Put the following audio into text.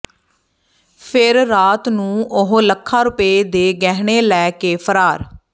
ਫਿਰ ਰਾਤ ਨੂੰ ਉਹ ਲੱਖਾਂ ਰੁਪਏ ਦੇ ਗਹਿਣੇ ਲੈ ਕੇ ਫਰਾਰ